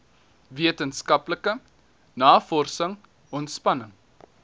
wetenskaplike navorsing ontspanning